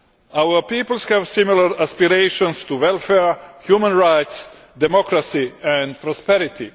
Our peoples have similar aspirations to welfare, human rights, democracy and prosperity.